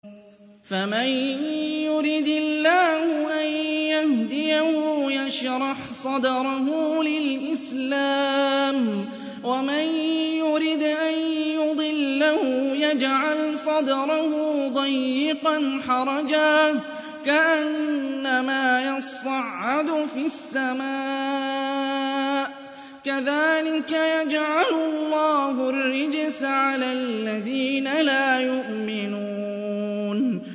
فَمَن يُرِدِ اللَّهُ أَن يَهْدِيَهُ يَشْرَحْ صَدْرَهُ لِلْإِسْلَامِ ۖ وَمَن يُرِدْ أَن يُضِلَّهُ يَجْعَلْ صَدْرَهُ ضَيِّقًا حَرَجًا كَأَنَّمَا يَصَّعَّدُ فِي السَّمَاءِ ۚ كَذَٰلِكَ يَجْعَلُ اللَّهُ الرِّجْسَ عَلَى الَّذِينَ لَا يُؤْمِنُونَ